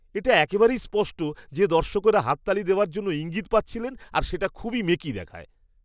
এটা একেবারেই স্পষ্ট যে দর্শকরা হাততালি দেওয়ার জন্য ইঙ্গিত পাচ্ছিলেন আর সেটা খুবই মেকি দেখায়।